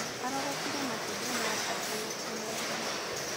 Arogotire matumbĩ ma baata na kũmeendia